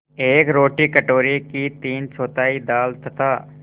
एक रोटी कटोरे की तीनचौथाई दाल तथा